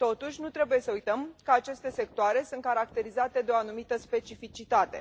Totuși, nu trebuie să uităm că aceste sectoare sunt caracterizate de o anumită specificitate.